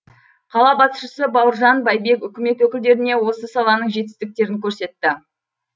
қала басшысы бауыржан байбек үкімет өкілдеріне осы саланың жетістіктерін көрсетті